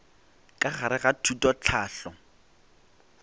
ka gare ga thuto tlhahlo